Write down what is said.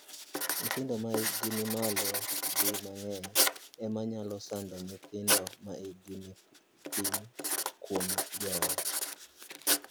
Nyithindo ma hikgi ni malo di mang’eny ema nyalo sando nyithindo ma hikgi ni piny kuom joot.